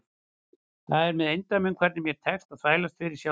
Það er með eindæmum hvernig mér tekst að þvælast fyrir sjálfri mér.